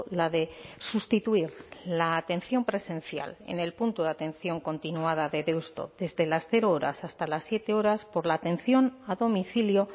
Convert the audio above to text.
la de sustituir la atención presencial en el punto de atención continuada de deusto desde las cero horas hasta las siete horas por la atención a domicilio